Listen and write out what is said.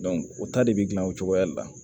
o ta de bɛ gilan o cogoya de la